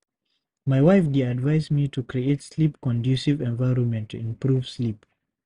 My wife dey advise me to create sleep-conducive environment to improve sleep.